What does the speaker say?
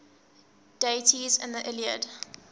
deities in the iliad